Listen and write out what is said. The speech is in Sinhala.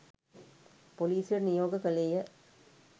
පොලිසියට නියෝග කළේය.